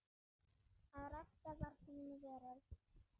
Að rækta var þín veröld.